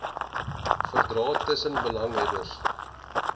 verdrae tussen belanghebbendes